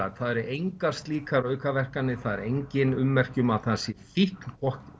það eru engar slíkar aukaverkanir það eru engin ummerki um að það sé fíkn